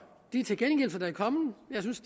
de tilkendegivelser der er kommet jeg synes